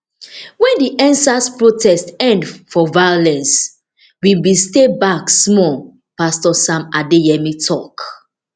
wen di endsars protests end for violence we bin stay back small pastor adeyemi tok